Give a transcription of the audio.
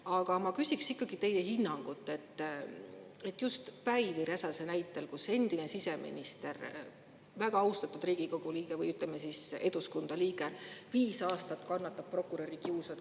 Aga ma küsiks ikkagi teie hinnangut, just Päivi Räsase näitel, kui endine siseminister, Eduskunna väga austatud liige on viis aastat prokuröri kiusu kannatanud.